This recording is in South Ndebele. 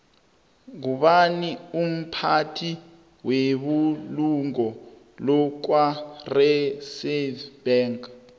ngubani umphathi webulungo lakwareserve bank